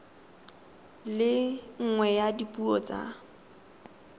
le nngwe ya dipuo tsa